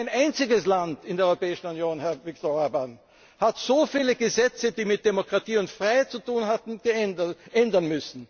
Kein einziges Land in der Europäischen Union, Herr Viktor Orbán, musste so viele Gesetze, die mit Demokratie und Freiheit zu tun hatten,